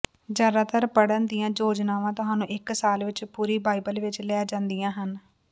ਜ਼ਿਆਦਾਤਰ ਪੜ੍ਹਨ ਦੀਆਂ ਯੋਜਨਾਵਾਂ ਤੁਹਾਨੂੰ ਇੱਕ ਸਾਲ ਵਿੱਚ ਪੂਰੀ ਬਾਈਬਲ ਵਿੱਚ ਲੈ ਜਾਂਦੀਆਂ ਹਨ